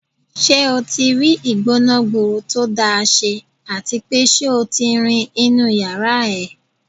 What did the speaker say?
Ṣé o tí rí ìgbóná-gburu tó dáa ṣe à ti pé ṣé o ti rin inú ìyárá ẹ?